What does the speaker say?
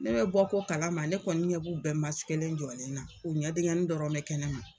Ne bɛ bɔ ko kalama ne kɔni ɲɛb'u bɛɛ len jɔlen na u ɲɛ diŋɛni dɔrɔn bɛ kɛnɛma